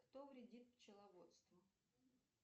кто вредит пчеловодству